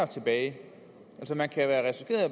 tilbage